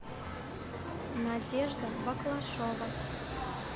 надежда баклашова